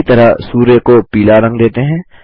इसी तरह सूर्य को पीला रंग देते हैं